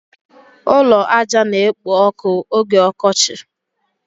Ụlọ ájá na-ekpo ọkụ oge ọkọchị.